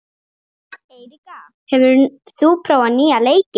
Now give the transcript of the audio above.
Eiríka, hefur þú prófað nýja leikinn?